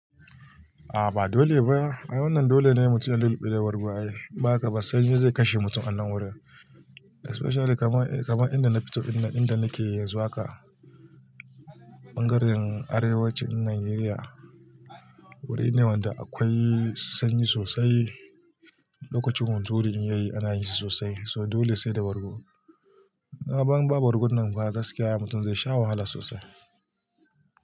A'a ba dole baya. In wannan dole ne mutum ya lullube wargi. Ba ka ba sanyi zai kashe mutum a nan wurin. Especially kaman inda na fito, inda nake zuwa ka, ɓangaren arewacin Nigeria. Wuri ne wanda akwai sanyi sosai. Lokacin hunturu in yayi ana yini sosai. So dole sai da bargo. A'a ban ba bargon nan ba zai saki ya mutum zai sha wahala sosai.